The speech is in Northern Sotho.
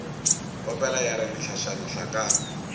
opela ya re mehlašana hlakana